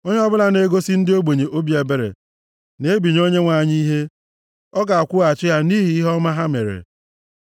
Onye ọbụla na-egosi ndị ogbenye obi ebere na-ebinye Onyenwe anyị ihe, ọ ga-akwụghachi ha nʼihi ihe ọma ha mere.